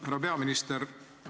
Härra peaminister!